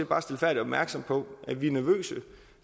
bare stilfærdigt opmærksom på at vi er nervøse